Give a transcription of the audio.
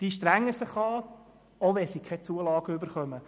Sie strengen sich an, auch wenn Sie keine Zulage erhalten.